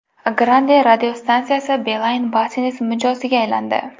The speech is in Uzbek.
Grande radiostansiyasi Beeline Business mijoziga aylandi.